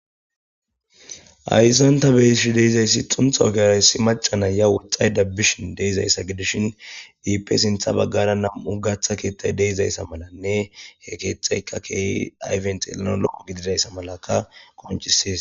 Hayssanta beyishi deizayssi xunthaokeyraysi macana ya woxay dabbishin deizayssa gidishin diipe sintha baggara nam'u gaththa keettay deizayssa malanne he keexayka keehi ayfent elano loqo gididayssa malaka konchisis.